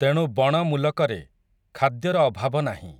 ତେଣୁ ବଣ ମୂଲକରେ, ଖାଦ୍ୟର ଅଭାବ ନାହିଁ ।